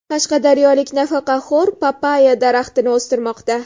Qashqadaryolik nafaqaxo‘r papayya daraxtini o‘stirmoqda.